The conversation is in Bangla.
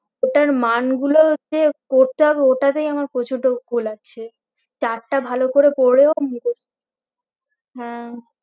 ওটার মান গুলো যে করতে হবে ওটাতেই আমার প্রচুর ধুক্কু লাগছে chart টা ভালো করে পড়েও মুখস্থ হ্যাঁ